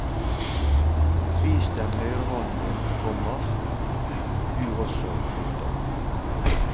Vis dem høyrehånden din, komma du også. punktum